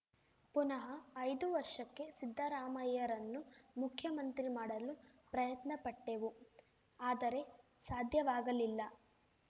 ಪುನಃ ಐದು ವರ್ಷಕ್ಕೆ ಸಿದ್ದರಾಮಯ್ಯರನ್ನು ಮುಖ್ಯಮಂತ್ರಿ ಮಾಡಲು ಪ್ರಯತ್ನಪಟ್ಟೆವು ಆದರೆ ಸಾಧ್ಯವಾಗಲಿಲ್ಲ